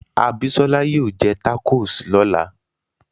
Abisola yóò jẹ tacos lọ́la